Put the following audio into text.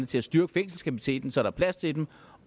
til at styrke fængselskapaciteten så der er plads til dem